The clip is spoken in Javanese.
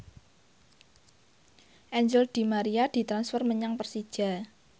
Angel di Maria ditransfer menyang Persija